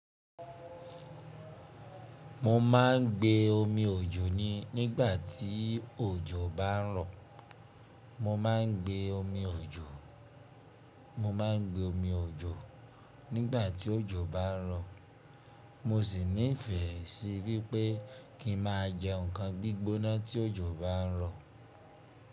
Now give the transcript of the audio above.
Mo máa ń gbé omi òjò ní nígbà tí òjò bá ń rọ̀. Mo máa ń gbé omi òjò, mo máa ń gbé omi òjò nígbà tí òjò bá ń rọ̀. Mo si nife si wipe ki n maa je nkan gbigbona tí òjò bá ń rọ̀.